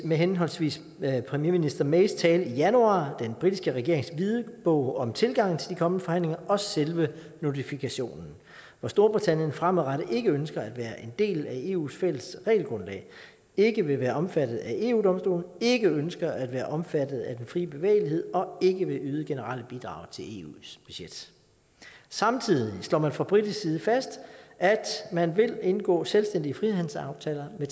med henholdsvis premierminister mays tale i januar den britiske regerings hvidbog om tilgangen til de kommende forhandlinger og selve notifikationen hvor storbritannien fremadrettet ikke ønsker at være en del af eus fælles regelgrundlag ikke vil være omfattet af eu domstolen ikke ønsker at være omfattet af den fri bevægelighed og ikke vil yde generelle bidrag til eus budget samtidig slår man fra britisk side fast at man vil indgå selvstændige frihandelsaftaler med